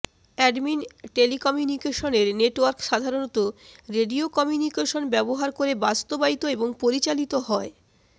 admin telecommunication network সাধারণত radio communication ব্যবহার করে বাস্তবায়িত এবং পরিচালিত হয়